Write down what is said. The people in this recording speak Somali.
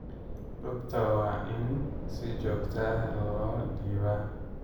Rugta waa in si joogto ah loo dhibaa.